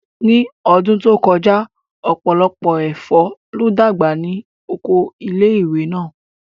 Ní ọdún tó kọjá, ọ̀pọ̀lọpọ̀ ẹ̀fọ́ ló dàgbà ní Oko ilé ìwé náà